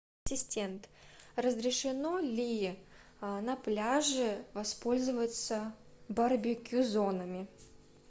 ассистент разрешено ли на пляже воспользоваться барбекю зонами